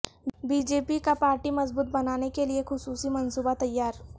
be J P کا party مضبوط بنانے کیلئے خصوصی منصوبہ تیار